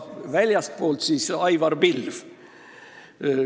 Väljastpoolt oli veel Aivar Pilv.